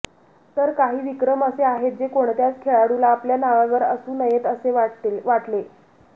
तर काही विक्रम असे आहेत जे कोणत्याच खेळाडूला आपल्या नावावर असू नयेत असे वाटले